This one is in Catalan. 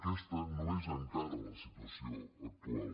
aquesta no és encara la situació actual